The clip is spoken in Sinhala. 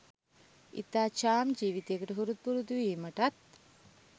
ඉතා චාම් ජීවිතයකට හුරු පුරුදු වීමටත්